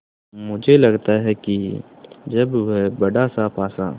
मुझे लगता है कि जब वह बड़ासा पासा